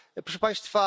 Proszę Państwa!